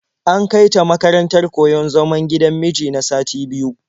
An kai ta makarantar koyon zaman gidan miji na sati biyu.